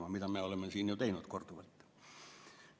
Just seda me oleme siin ju teinud korduvalt.